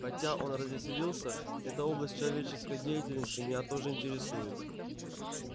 хотя он развеселился эта область человеческой деятельности меня тоже интересует